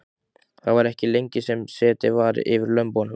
Það var ekki lengi sem setið var yfir lömbunum.